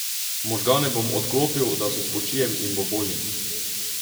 Možgane bom odklopil, da se spočijem in bo bolje.